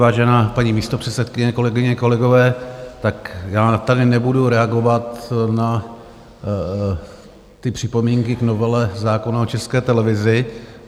Vážená paní místopředsedkyně, kolegyně kolegové, tak já tady nebudu reagovat na ty připomínky k novele zákona o České televizi.